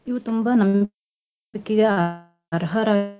ಇವು ತುಂಬಾ ನಂ~ ನಂಬಿಕೆಗೆ ಅರ್ಹರ .